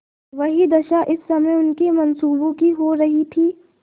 वही दशा इस समय उनके मनसूबों की हो रही थी